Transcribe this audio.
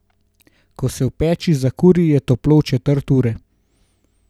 Ko se v peči zakuri, je toplo v četrt ure.